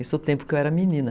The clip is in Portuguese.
Esse é o tempo que eu era menina.